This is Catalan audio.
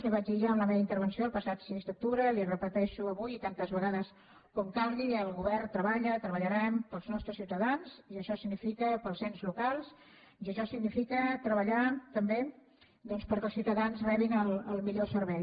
li ho vaig dir ja en la meva intervenció el passat sis d’octubre li ho repeteixo avui i tantes vegades com calgui el govern treballa treballarem pels nostres ciutadans pels ens locals i això significa treballar també doncs perquè els ciutadans rebin el millor servei